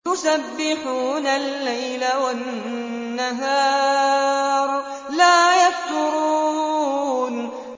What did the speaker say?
يُسَبِّحُونَ اللَّيْلَ وَالنَّهَارَ لَا يَفْتُرُونَ